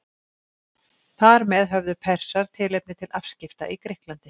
þar með höfðu persar tilefni til afskipta í grikklandi